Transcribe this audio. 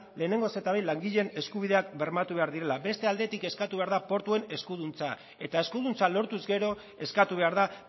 lehenengo eta behin langileen eskubideak bermatu behar direla beste aldetik eskatu behar da portuen eskuduntza eta eskuduntza lortuz gero eskatu behar da